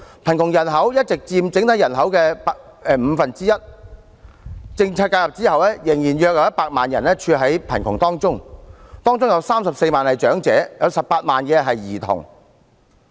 貧窮人口一直佔整體人口約五分之一，政策介入後仍有約100萬人屬貧窮人口，包括34萬名長者 ，18 萬名兒童。